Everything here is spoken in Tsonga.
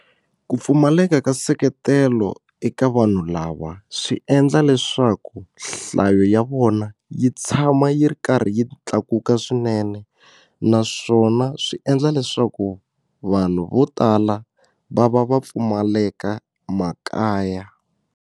Ku pfumaleka ka nseketelo eka vanhu lava swi endla leswaku nhlayo ya vona yi tshama yi ri karhi yi tlakuka swinene naswona swi endla leswaku vanhu vo tala va va va pfumaleka makaya.